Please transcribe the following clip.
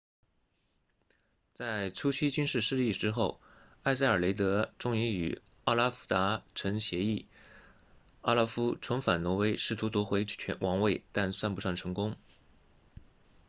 在初期军事失利之后埃塞尔雷德终于与奥拉夫达成协议奥拉夫重返挪威试图夺回王位但算不上成功